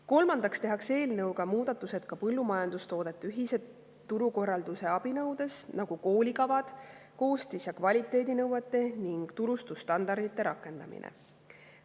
Kolmandaks tehakse eelnõuga muudatused ka põllumajandustoodete ühise turukorralduse abinõudes, nagu koolikavad, koostis‑ ja kvaliteedinõuete ning turustusstandardite rakendamine.